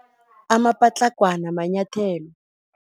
Amapatlagwana manyathelo.